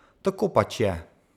Tako pač je!